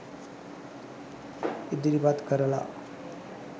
ඉදිරිපත් කරලා